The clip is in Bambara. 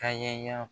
Ka ɲɛ